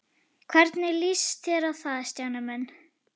Hvernig líst þér á það, Stjáni minn?